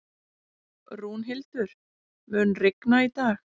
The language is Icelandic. Rúnhildur, mun rigna í dag?